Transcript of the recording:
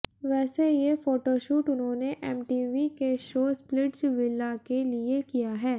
वैसे ये फोटोशूट उन्होंने एमटीवी के शो स्पिलिट्जविला के लिए किया है